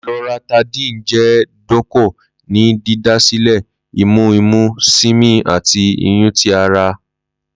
Loratadine jẹ doko ni didasilẹ imu imu, simi ati nyún ti ara.